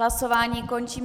Hlasování končím.